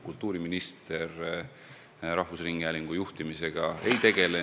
Kultuuriminister rahvusringhäälingu juhtimisega ei tegele.